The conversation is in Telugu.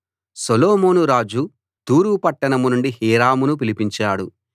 సొలొమోను రాజు తూరు పట్టణం నుండి హీరామును పిలిపించాడు